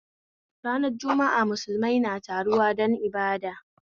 Ranar jumu'a musulmai na taruwa don ibada